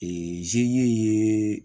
zeri ye